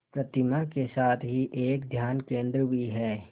प्रतिमा के साथ ही एक ध्यान केंद्र भी है